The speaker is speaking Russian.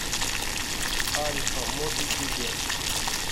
альфа моби билет